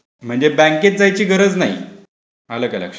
म्हणजे बँकेत जायची गरज नाही.आलं का लक्षात?